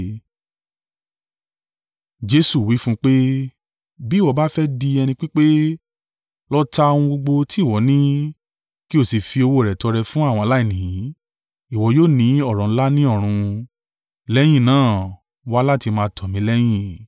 Jesu wí fún un pé, “Bí ìwọ bá fẹ́ di ẹni pípé, lọ ta ohun gbogbo tí ìwọ ní, kí o sì fi owó rẹ̀ tọrẹ fún àwọn aláìní. Ìwọ yóò ní ọrọ̀ ńlá ní ọ̀run. Lẹ́yìn náà, wá láti máa tọ̀ mi lẹ́yìn.”